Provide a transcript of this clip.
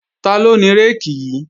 Taló ni réèkì yí?